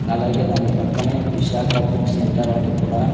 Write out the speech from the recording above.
అలాగే దాని పక్కనే విశాఖ బుక్ సెంటర్ అని కూడా--